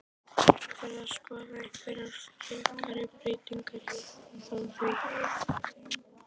Er verið að skoða einhverjar frekari breytingar á því?